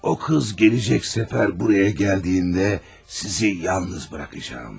O qız gələn səfər buraya gələndə sizi yalnız buraxacağam.